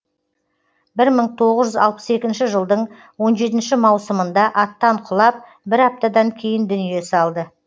бір мың тоғыжүз алпыс екінші жылдың он жетінші маусымында аттан құлап бір аптадан кейін дүние салды